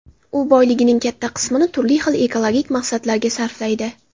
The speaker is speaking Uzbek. U boyligining katta qismini turli xil ekologik maqsadlarga sarflaydi.